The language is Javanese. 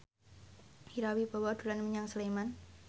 Ira Wibowo dolan menyang Sleman